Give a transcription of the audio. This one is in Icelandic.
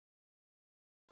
Svo þar höfum við það.